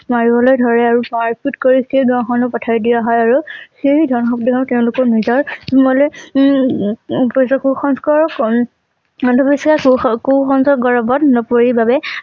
মাৰিবলৈ ধৰে আৰু মাৰপিত কৰি পথাই দিয়া হয় আৰু সেই ধন তেওঁলোকৰ নিজৰ মনলে উম উম কুসংস্কাৰৰ কন অন্ধবিশ্বাস ব কুসংস্কাৰ গৌৰবত নপৰিল বাবে